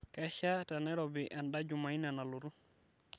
kesha tenairobi enda jumaine nalotu